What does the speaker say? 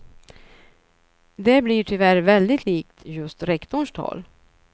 Det blir tyvärr väldigt likt just rektorns tal.